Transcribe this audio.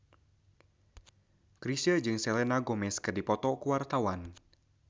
Chrisye jeung Selena Gomez keur dipoto ku wartawan